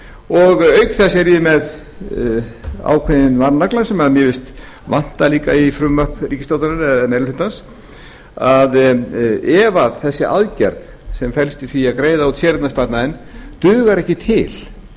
og auk þess er ég með ákveðinn varnagla sem mér finnst vanta í frumvarp ríkisstjórnarinnar eða meiri hlutans að ef þessi aðgerð sem felst í því að greiða út séreignarsparnaðinn dugar ekki til